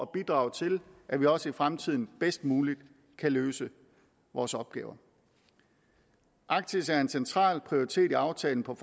bidrage til at vi også i fremtiden bedst muligt kan løse vores opgaver arktis er en central prioritet i aftalen om